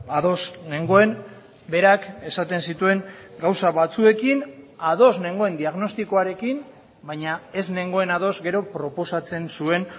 ados nengoen berak esaten zituen gauza batzuekin ados nengoen diagnostikoarekin baina ez nengoen ados gero proposatzen zuen